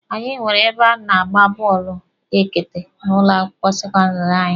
Anyị nwere ebe a na-agba bọọlụ ekete n'ụlọ akwụkwọ sekọndịrị anyị.